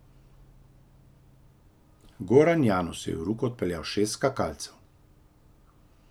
Goran Janus je v Ruko odpeljal šest skakalcev.